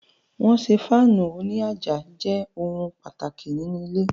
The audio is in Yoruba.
Wọ́n ṣé Fáànù òní àjà jẹ ohun pàtàkì nínu ilé